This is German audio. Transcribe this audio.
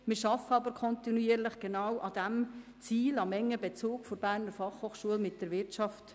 Wir arbeiten kontinuierlich genau an diesem Ziel, an einem engen Bezug der BFH zur Wirtschaft.